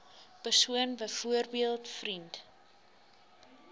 persoon byvoorbeeld vriend